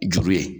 Juru ye